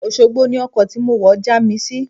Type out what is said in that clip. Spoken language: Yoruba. Òṣogbo ni ọkọ̀ tí mo wọ̀ já mi sí.